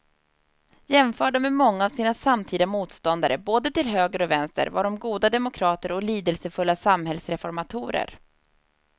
Jämförda med många av sina samtida motståndare både till höger och vänster var de goda demokrater och lidelsefulla samhällsreformatorer.